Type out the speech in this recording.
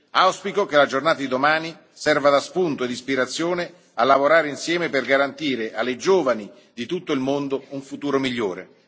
Auspico che la giornata di domani serva da spunto e da ispirazione a lavorare insieme per garantire alle giovani di tutto il mondo un futuro migliore.